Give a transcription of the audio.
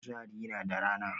Kuzari na da rana